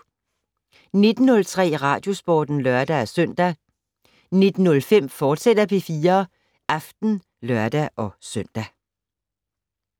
19:03: Radiosporten (lør-søn) 19:05: P4 Aften, fortsat (lør-søn)